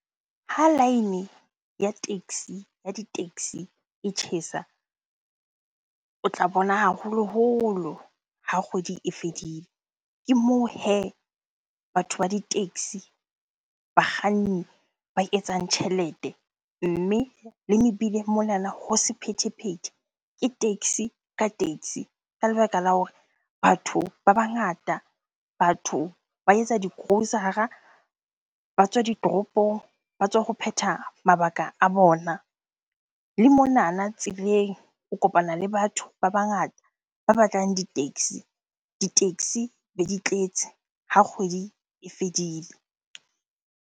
Ha line ya taxi, ya di-taxi e tjhesa o tla bona haholoholo ha kgwedi e fedile. Ke moo hee batho ba di-taxi, bakganni ba etsang tjhelete. Mme le mebileng monana ho sephethephethe ke taxi ka taxi ka lebaka la hore batho ba bangata, batho ba etsa di-grocer-a, ba tswa ditoropong, ba tswa ho phetha mabaka a bona. Le monana tseleng o kopana le batho ba bangata ba batlang di-taxi, di-taxi be di tletse ha kgwedi e fedile.